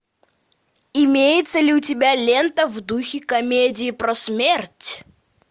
имеется ли у тебя лента в духе комедии про смерть